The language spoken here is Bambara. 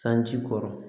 Sanji kɔrɔ